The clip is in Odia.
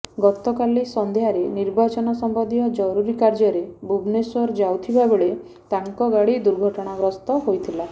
ଗତକାଲି ସନ୍ଧ୍ୟାରେ ନିର୍ବାଚନ ସମ୍ବନ୍ଧୀୟ ଜରୁରୀ କାର୍ଯ୍ୟରେ ଭୁବନେଶ୍ୱର ଯାଉଥିବା ବେଳେ ତାଙ୍କ ଗାଡି ଦୁର୍ଘଟଣା ଗସ୍ତ ହୋଇଥିଲା